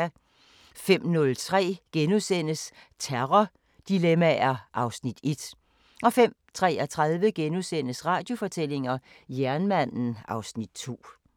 05:03: Terrordilemmaer (Afs. 1)* 05:33: Radiofortællinger: Jernmanden (Afs. 2)*